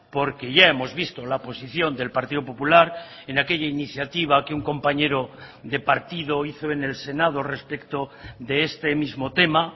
porque ya hemos visto la posición del partido popular en aquella iniciativa que un compañero de partido hizo en el senado respecto de este mismo tema